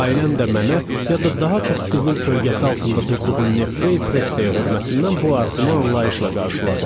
Ailəm də mənə ya da daha çox qızıl kölgəsi altında durduğum Nefreypressə hörmətindən bu arzumu anlayışla qarşıladı.